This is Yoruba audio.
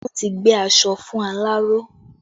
Wọn ti gbé aṣọ fún aláró